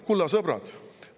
Kulla sõbrad!